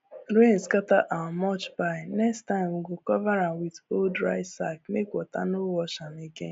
rain scatter our mulch pile next time we go cover am with old rice sack make water no wash am again